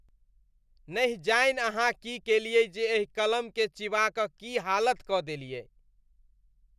नहि जानि अहाँ की केलयै जे एहि कलमकेँ चिबा कऽ की हालत कऽ देलियै।